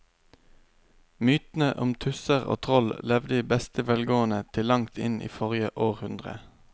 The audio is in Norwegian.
Mytene om tusser og troll levde i beste velgående til langt inn i forrige århundre.